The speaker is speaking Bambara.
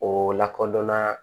O lakodɔnna